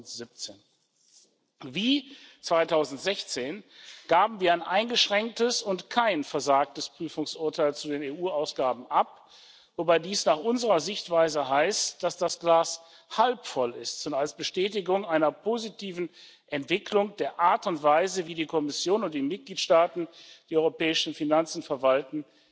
2017. Wie 2016 gaben wir ein eingeschränktes und kein versagtes Prüfungsurteil zu den EU Ausgaben ab, wobei dies nach unserer Sichtweise heißt, dass das Glas halb voll ist und als Bestätigung einer positiven Entwicklung der Art und Weise, wie die Kommission und die Mitgliedstaaten die europäischen Finanzen verwalten,